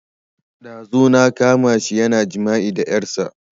Ɗazu na kama shi yana jima'i da ƴarsa